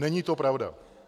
Není to pravda.